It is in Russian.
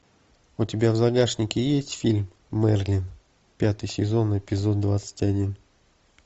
у тебя в загашнике есть фильм мерлин пятый сезон эпизод двадцать один